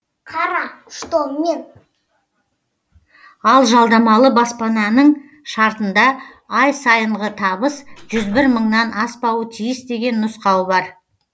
ал жалдамалы баспананың шартында ай сайынғы табыс жүз бір мыңнан аспауы тиіс деген нұсқау бар